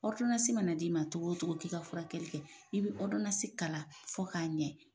mana d'i ma cogo wo cogo k'i ka furakɛli kɛ i bɛ kalan fɔ k'a ɲɛ.